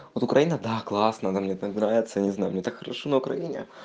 вот украина да классная она мне так нравится не знаю мне так хорошо на украине